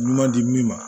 Ɲuman di min ma